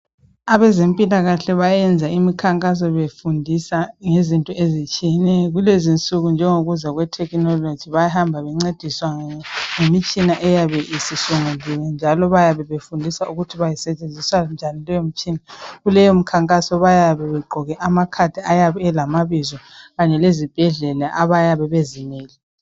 Abezempilakahle bayenza imikhankaso befundisa ngezinto ezitshiyeneyo kulezi insuku njengokuza kwetechnology bahamba bencediswa ngemitshina eyabe isisunguliwe njalo bayabe befundiswa ukuthi basetshenziswa njani leyo mitshina kuleyo mkhankaso bayabe begqoke amacard ayabe elamabizo kanye lezibhedlela abayabe bezimele.